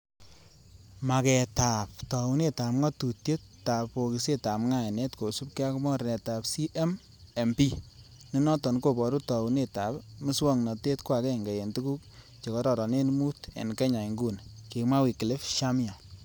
Mageetab taunetab ngatutiet ab bokisitab ngainet kosiibge ak mornetab CMMP,nenoton koboru tounet ab miswognotet ko agenge en tuguk che kororonen mut, en kenya inguni, kimwa Wycliffe Shamia.